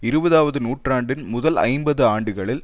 இருபதாவது நூற்றாண்டின் முதல் ஐம்பது ஆண்டுகளில்